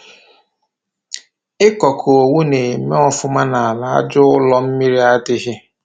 ị kọ kọ owu na-eme ọfụma n'ala aja ụ́lọ́ mmiri adịghị.